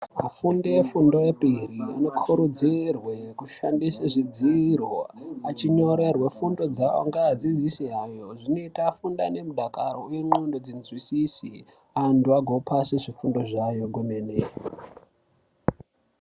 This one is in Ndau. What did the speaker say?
Afundo efundo epiri anokurudzirwe kushandise zvidziro achinyorerwe fundo dzawo ngaadzidzise hayo zvinoita fundane mundaka wendxondo dzinzwisise antu agopase zvifundo zvayo kwemene.